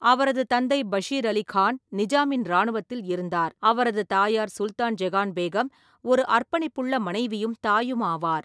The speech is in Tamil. அவரது தந்தை பஷீர் அலி கான் நிஜாமின் ராணுவத்தில் இருந்தார், அவரது தாயார் சுல்தான் ஜெகான் பேகம் ஒரு அர்ப்பணிப்புள்ள மனைவியும் தாயுமாவார்.